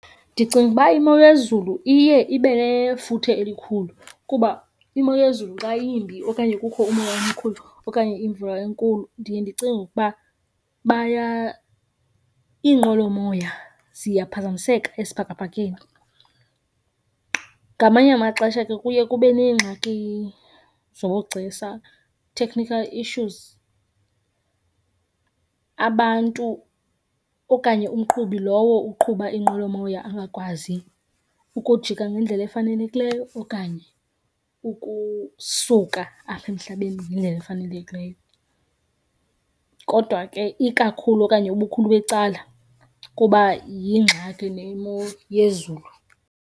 Ndicinga uba imo yezulu iye ibe nefuthe elikhulu kuba imo yezulu xa yimbi okanye kukho umoya omkhulu okanye imvula enkulu ndiye ndicinge ukuba iinqwelomoya ziyaphazamiseka esibhakabhakeni. Ngamanye amaxesha ke kuye kube neengxaki zobugcisa, technical issues. Abantu okanye umqhubi lowo uqhuba iinqwelomoya angakwazi ukujika ngendlela efanelekileyo okanye ukusuka apha emhlabeni ngendlela efanelekileyo. Kodwa ke ikakhulu okanye ubukhulu becala kuba yingxaki nemo yezulu.